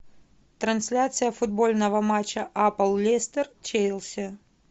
трансляция футбольного матча апл лестер челси